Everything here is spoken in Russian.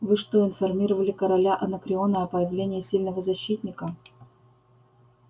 вы что информировали короля анакреона о появлении сильного защитника